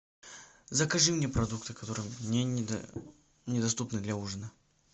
закажи мне продукты которые мне недоступны для ужина